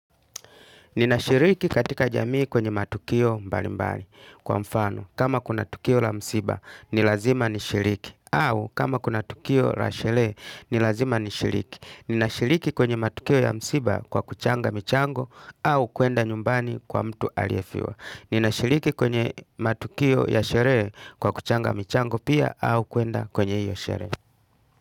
Ninashiriki katika jamii kwenye matukio mbali mbali kwa mfano. Kama kuna tukio la msiba ni lazima nishiriki. Au kama kuna tukio la sherehe ni lazima nishiriki. Ninashiriki kwenye matukio ya msiba kwa kuchanga michango au kuenda nyumbani kwa mtu aliyefiwa. Ninashiriki kwenye matukio ya sherehe kwa kuchanga michango pia au kuenda kwenye hiyo sherehe.